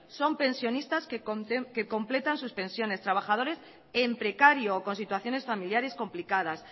son pensionistas que completan sus pensiones trabajadores en precario o con situaciones familiares complicadas